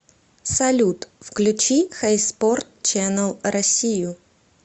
салют включи хэйспорт ченнэл россию